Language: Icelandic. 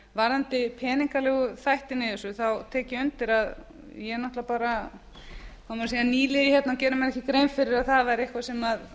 varðandi peningalegu þættina í þessu tek ég undir að ég er náttúrlega bara nýliði hérna og gerði mér ekki grein fyrir að það væri eitthvað sem